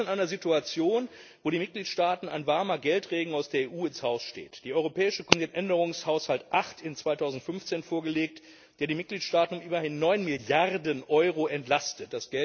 Und dies in einer Situation, in der den Mitgliedstaaten ein warmer Geldregen aus der EU ins Haus steht Die Europäische Kommission hat soeben den Änderungshaushalt 8 in 2015 vorgelegt, der die Mitgliedstaaten um immerhin 9 Milliarden Euro entlastet.